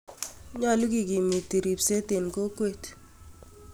Nyolu kigimiit ripseet en kokweet